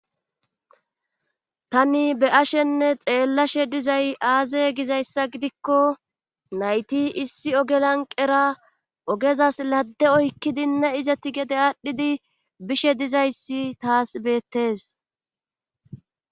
tani be ashenne xeellashe dizay aaze gizayssa gidikko nayti issi oge lanqera ogezas ladde oykkidinne izati gede aadhdhidi bishe dizayssi taas beettes